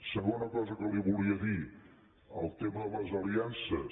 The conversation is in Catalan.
segona cosa que li volia dir el tema de les aliances